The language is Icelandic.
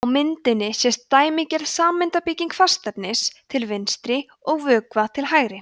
á myndinni sést dæmigerð sameindabygging fastefnis til vinstri og vökva til hægri